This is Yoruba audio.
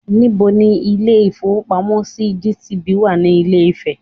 Níbo ni Ilé ìfowópamọ́ sí GTB wà ní Ilé Ifè